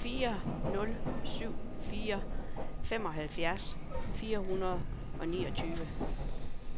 fire nul syv fire femoghalvfjerds fire hundrede og niogtyve